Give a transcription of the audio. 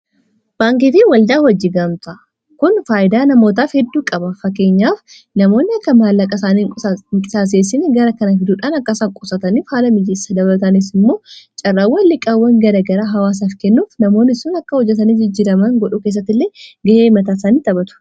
baankeetii waldaa hojjigamtaa kun faayidaa namootaaf hedduu qaba fakeenyaaf namoonni akkan maallaaqa isaanii inqisaaseessin gara kana fiduudhaan akkasaan qosatanf haala miijissa dabalatanis immoo caarraawan liqaawwan gara gara hawaasaaf kennuuf namoonni isuun akka hojjatanii jijjiraman godhuu keessatti illee ga'ee mataasanii xaphatu